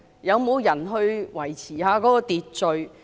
有沒有人維持秩序？